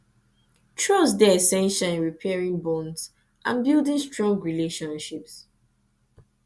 trust dey essential in repairing bonds and building strong relationships